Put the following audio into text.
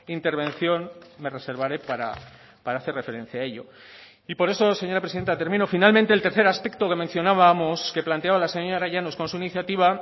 intervención me reservaré para hacer referencia a ello y por eso señora presidenta termino finalmente el tercer aspecto que mencionábamos que planteaba la señora llanos con su iniciativa